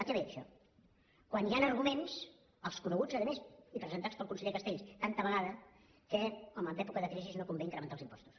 a què ve això quan hi han arguments els coneguts a més i presentats pel conseller castells tantes vegades que home en època de crisi no convé incrementar els impostos